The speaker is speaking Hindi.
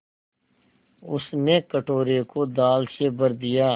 उसने कटोरे को दाल से भर दिया